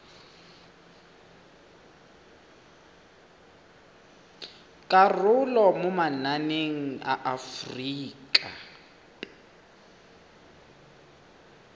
karolo mo mananeng a aforika